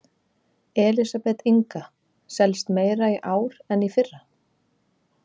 Elísabet Inga: Selst meira í ár en í fyrra?